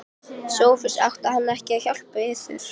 SOPHUS: Átti hann ekki að hjálpa yður?